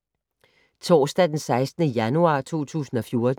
Torsdag d. 16. januar 2014